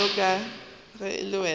bjalo ka ge le wena